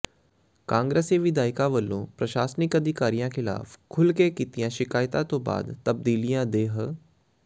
ਕਾਂਗਰਸੀ ਵਿਧਾਇਕਾਂ ਵੱਲੋਂ ਪ੍ਰਸ਼ਾਸਨਿਕ ਅਧਿਕਾਰੀਆਂ ਖ਼ਿਲਾਫ਼ ਖੁੱਲ੍ਹ ਕੇ ਕੀਤੀਆਂ ਸ਼ਿਕਾਇਤਾਂ ਤੋਂ ਬਾਅਦ ਤਬਦਾਲਿਆਂ ਦੇ ਹ